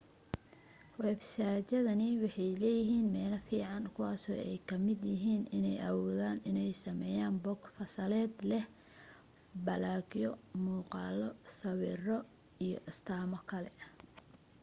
websaydyadani waxay leeyihiin meelo fiican kuwaasoo ay ka mid yihiin inay awoodaan inay sameeyaan bog fasaleed leh baloogyo muuqaalo sawiro iyo astaamo kale